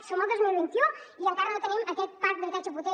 som al dos mil vint u i encara no tenim aquest parc d’habitatge potent